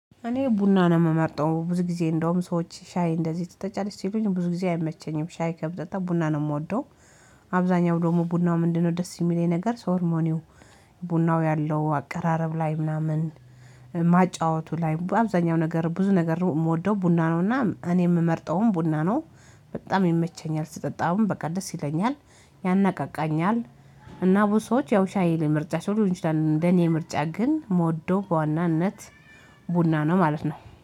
እኔ ቡና ነው የምመርጠው ብዙ ጊዜ እንደውም ሰዎች ሻይ እንደዚህ ትጠጫለሽ ሲሉኝ ብዙ ጊዜ አይመቸኝም ሻይ ከምጠጣ ቡና ነው የምወደው። አብዛኛው ደግሞ ቡናው ምንድነው? ደስ የሚለኝ ነገር ሶርሞኒው ቡናው ያለው አቀራረብ ላይ ምናምን ማጫወቱ ላይ አብዛኛው ነገር ብዙ ነገር የምወደው ቡና ነውና እኔ የምመርጠውም ቡና ነው። በጣም ይመቸኛል ስጠጣውን በቃ ደስ ይለኛል ያናቃቃኛል። እና ቡዙ ሰወች ያው ሻይ ላይ ምርጫቸው ሊሆን ይችላል እንደኔ ምርጫ ግን ምወደው በዋናነት ቡና ነው ማለት ነው።